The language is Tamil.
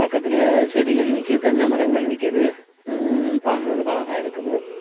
பக்கத்துல செடிகள் நிக்கி தென்ன மரங்கள் நிக்கிது ம்ம் பாக்கர்துக்கு அழகா இருக்குது.